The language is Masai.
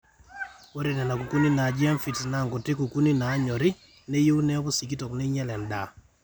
ore nena kukuuni naaji aphids naa nkuti kukuuni naanyorri neyieu neeku sikitok neinyal endaa